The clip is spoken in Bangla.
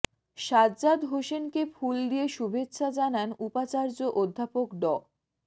সাজ্জাদ হোসেনকে ফুল দিয়ে শুভেচ্ছা জানান উপাচার্য অধ্যাপক ড